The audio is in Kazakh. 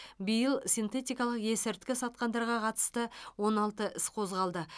биыл синтетикалық ескірткі сатқандарға қатысты он алты іс қозғалды